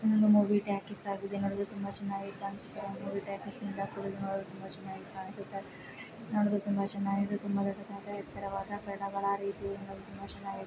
ಇದೊಂದು movie talkies ಆಗಿದ್ದು ನೋಡಲು ತುಂಬಾ ಚೆನ್ನಾಗಿ ಕಾಣಿಸುತ್ತೆ ಆ ಮೂವಿ ಟಾಕಿಸ್ ಇಂದ ಕುಳಿತು ನೋಡಲು ತುಂಬಾ ಚೆನ್ನಾಗಿ ಕಾಣಿಸುತ್ತ ನೋಡಲು ತುಂಬಾ ಚೆನ್ನಾಗಿದೆ. ತುಂಬಾ ದೊಡ್ಡದಾದ ಎತ್ತರವಾದ ಬಣ್ಣಗಳ ರೀತಿಯಿಂದ ತುಂಬಾ ಚೆನ್ನಾಗಿ ಕಾಣಿಸುತ್ತೆ.